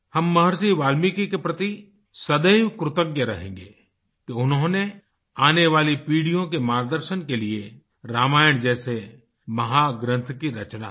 हम महर्षि वाल्मीकि के प्रति सदैव कृतज्ञ रहेंगें कि उन्होंने आने वाली पीढ़ियों के मार्गदर्शन के लिए रामायण जैसे महाग्रंथ की रचना की